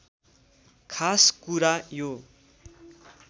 खास कुरा यो